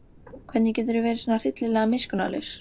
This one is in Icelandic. Hvernig geturðu verið svona hryllilega miskunnarlaus?